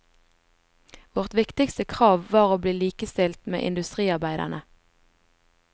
Vårt viktigste krav var å bli likestilt med industriarbeiderne.